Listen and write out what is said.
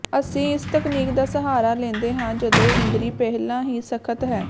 ਅਸੀਂ ਇਸ ਤਕਨੀਕ ਦਾ ਸਹਾਰਾ ਲੈਂਦੇ ਹਾਂ ਜਦੋਂ ਇੰਦਰੀ ਪਹਿਲਾਂ ਹੀ ਸਖਤ ਹੈ